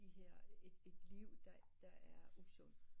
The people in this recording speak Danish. At de her et et liv der er usundt